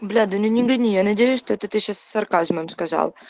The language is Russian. бля да ну не гони я надеюсь что это ты сейчас с сарказмом сказал